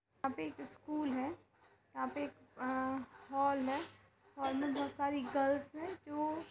यहाँ पे एक स्कूल है यहाँ पे अ एक हॉल है हॉल में बहुत सारी गल्स है जो --